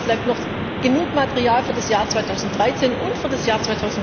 Keine Sorge, es bleibt noch genug Material für das Jahr 2013 und für das Jahr